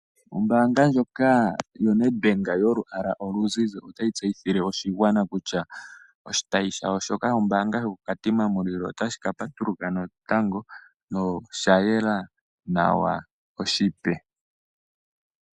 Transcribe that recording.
Ombaanga ndjoka yoNedbank yolwaala oluzize otayi tseyithile oshigwana kutya oshitayi shoka shombaanga koKatima Mulilo otashi ka patuluka natango noshayela nawa noshipe.